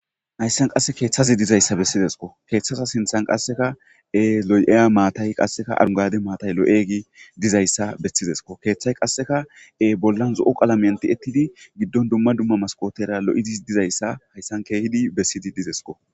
hayssan qasse keeththazi dizayssa bessizesko keeththaza sinthan qasseka e loy7eya maatay qasseka arungade maatay lo7egi dizayssa bestizesko keeththay qasseka e bollan zo7o qalamanti ettidi giddon dumma dumma maskootera lo7idis dizayssa hayssan keehidi bessidi dizesko